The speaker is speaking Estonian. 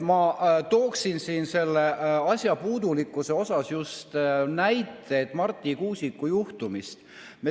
Ma tooksin selle asja puudulikkusega seoses näite Marti Kuusiku juhtumist.